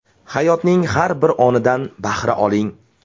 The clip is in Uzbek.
Hayotning har bir onidan bahra oling.